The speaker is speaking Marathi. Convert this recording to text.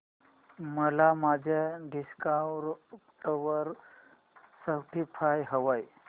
मला माझ्या डेस्कटॉप वर स्पॉटीफाय हवंय